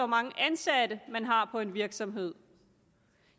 mange ansatte man har på en virksomhed